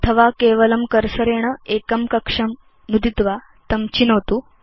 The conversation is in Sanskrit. अथवा केवलं कर्सरेण एकं कक्षं नुदित्वा तं चिनोतु